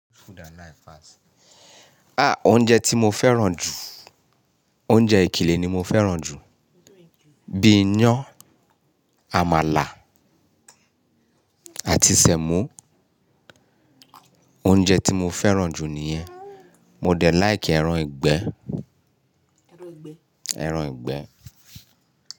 Oúnjẹ tí mo fẹ́ràn jù, oúnjẹ ìkìlẹ̀ ni mo fẹ́ràn jù, bíi iyán, àmàlà àti sẹ̀mọ́. Oúnjẹ tí mo fẹ́ràn jù nìyẹn. Mo dẹ̀ like ẹran ìgbẹ́, ẹran ìgbẹ́.